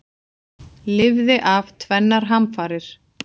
Lifði af tvennar hamfarir